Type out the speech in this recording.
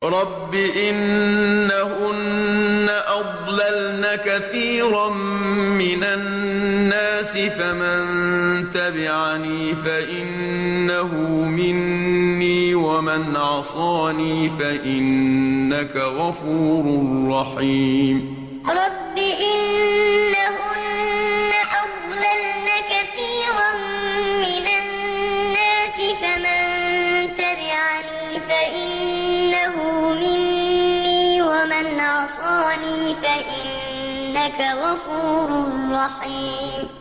رَبِّ إِنَّهُنَّ أَضْلَلْنَ كَثِيرًا مِّنَ النَّاسِ ۖ فَمَن تَبِعَنِي فَإِنَّهُ مِنِّي ۖ وَمَنْ عَصَانِي فَإِنَّكَ غَفُورٌ رَّحِيمٌ رَبِّ إِنَّهُنَّ أَضْلَلْنَ كَثِيرًا مِّنَ النَّاسِ ۖ فَمَن تَبِعَنِي فَإِنَّهُ مِنِّي ۖ وَمَنْ عَصَانِي فَإِنَّكَ غَفُورٌ رَّحِيمٌ